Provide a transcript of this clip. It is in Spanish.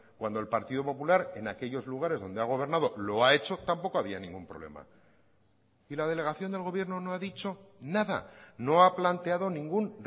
cuando el partido popular en aquellos lugares donde ha gobernado lo ha hecho tampoco había ningún problema y la delegación del gobierno no ha dicho nada no ha planteado ningún